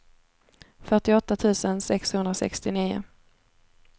fyrtioåtta tusen sexhundrasextionio